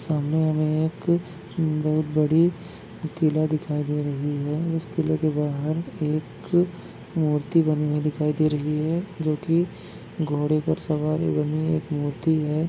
सामने हमे एक बहुत बड़ी किला दिखाई दे रही है इस किला के बाहर एक मूर्ति बनी हुई दिखाई दे रही है जो की घोड़े पर सवार बनी एक मूर्ति है।